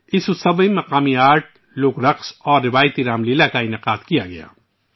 اس تہوار میں مقامی فن، لوک رقص اور روایتی رام لیلا کا اہتمام کیا گیا